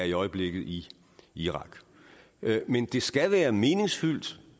i øjeblikket i irak men det skal være meningsfyldt